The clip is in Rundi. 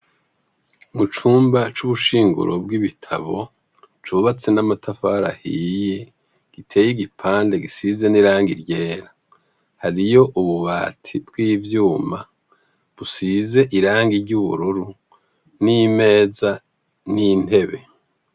Mu cumba c'ubushinguro bw'ibitabo cubatse n'amatafari ahiye, riteye igipande gisize n'irangi ryera. Hariyo ububati bw'ivyuma busize irangi ry'ubururu n'imeza n'intebe.